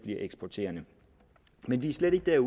eksporterende men vi er slet ikke dér